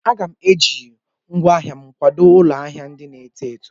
Aga m eji ngwaa ahịa m kwadò ụlọ ahịa ndị na-eto eto.